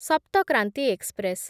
Sapta Kranti express